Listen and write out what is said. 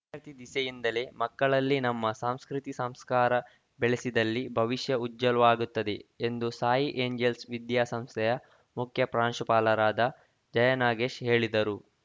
ವಿದ್ಯಾರ್ಥಿ ದಿಸೆಯಿಂದಲೇ ಮಕ್ಕಳಲ್ಲಿ ನಮ್ಮ ಸಂಸ್ಕೃತಿ ಸಂಸ್ಕಾರ ಬೆಳೆಸಿದಲ್ಲಿ ಭವಿಷ್ಯ ಉಜ್ವಲವಾಗುತ್ತದೆ ಎಂದು ಸಾಯಿ ಏಂಜಲ್ಸ್‌ ವಿದ್ಯಾ ಸಂಸ್ಥೆಯ ಮುಖ್ಯ ಪ್ರಾಂಶುಪಾಲರಾದ ಜಯನಾಗೇಶ್‌ ಹೇಳಿದರು